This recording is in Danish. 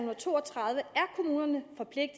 og to og tredive